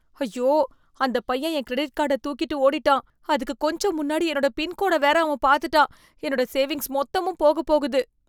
ஐயோ, அந்த பையன் என் கிரெடிட் கார்ட தூக்கிட்டு ஒடிட்டான். அதுக்கு கொஞ்சம் முன்னாடி என்னோட பின் கோட வேற அவன் பார்த்துட்டான். என்னோட சேவிங்ஸ் மொத்தமும் போகப் போகுது.